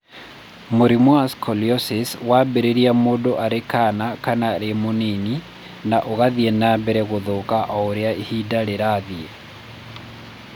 Mũrimũ wa scoliosis wambĩrĩria mũndũ arĩ kaana kana arĩ mũnini na ũgathiĩ na mbere gũthũka o ũrĩa ihinda rĩrathiĩ.